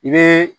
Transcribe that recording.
I bɛ